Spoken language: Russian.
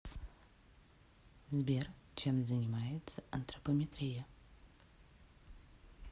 сбер чем занимается антропометрия